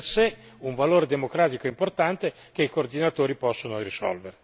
Il confronto in anticipo è di per sé un valore democratico importante che i coordinatori possono risolvere.